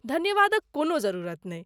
धन्यवादक कोनो जरुरत नहि।